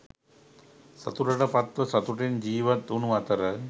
සතුටට පත්ව සතුටෙන් ජීවත්වුණු අතර,